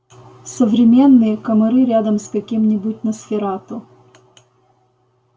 современные комары рядом с каким-нибудь носферату